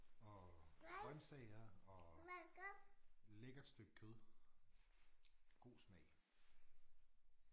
Og grøntsager og lækkert stykke kød god smag